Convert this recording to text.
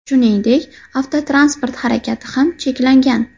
Shuningdek, avtotransport harakati ham cheklangan .